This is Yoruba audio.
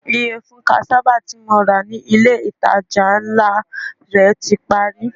Iyẹfun cassava ti mo ra ni ile itaja nla rẹ ti pari